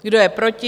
Kdo je proti?